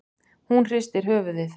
Hún hristir höfuðið.